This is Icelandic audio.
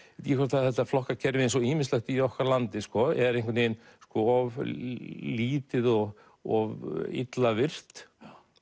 þetta flokkakerfi eins og ýmislegt í okkar landi er einhvern veginn of lítið og of illa virkt